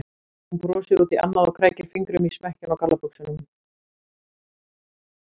Hún brosir út í annað og krækir fingrum í smekkinn á gallabuxunum.